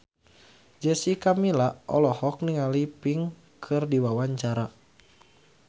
Jessica Milla olohok ningali Pink keur diwawancara